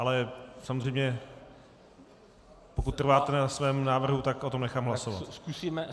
Ale samozřejmě, pokud trváte na svém návrhu, tak o tom nechám hlasovat.